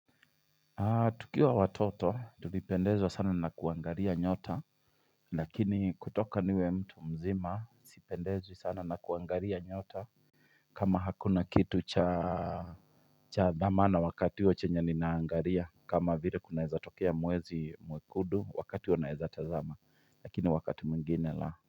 Tukiwa watoto tulipendezwa sana na kuangalia nyota Lakini kutoka niwe mtu mzima sipendezwi sana na kuangalia nyota kama hakuna kitu cha dhamana wakati huo chenye ninaangalia kama vile kunaezatokea mwezi mwekundu wakati huo naweza tazama lakini wakati mwingine la.